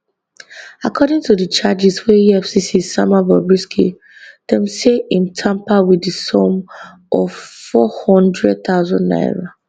according to di charges wey efcc sama bobrisky dem say im tamper wit di sum of four hundred thousand naira